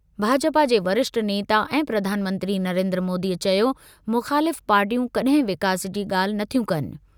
भाजपा जे वरिष्ठ नेता ऐं प्रधान मंत्री नरेंद्र मोदी चयो- मुख़ालिफ़ पार्टियूं कड॒हिं विकास जी ॻाल्हि नथियूं कनि।